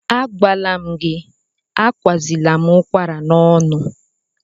Agwala m gị, akwanyezila m ụkwara n'ọnụ!